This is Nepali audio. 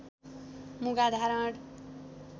मुगा धारण